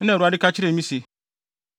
na Awurade ka kyerɛɛ me se,